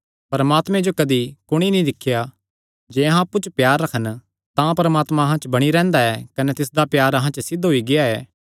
परमात्मे जो कदी कुणी नीं दिख्या जे अहां अप्पु च प्यार रखन तां परमात्मा अहां च बणी रैंह्दा ऐ कने तिसदा प्यार अहां च सिद्ध होई गेआ ऐ